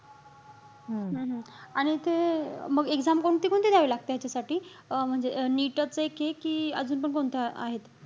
हम्म हम्म आणि ते मग exam कोणती-कोणती द्यावी लागते ह्याच्यासाठी? अं म्हणजे अं NEET च एके कि अजून पण कोणतं आहेत?